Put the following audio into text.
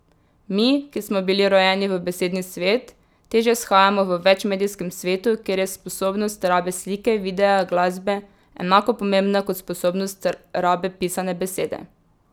Mi, ki smo bili rojeni v besedni svet, težje shajamo v večmedijskem svetu, kjer je sposobnost rabe slike, videa, glasbe enako pomembna kot sposobnost rabe pisane besede.